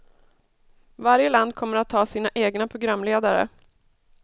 Varje land kommer att ha sina egna programledare.